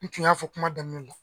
N tun y'a fɔ kuma daminɛ na